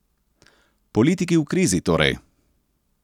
Politiki v krizi torej?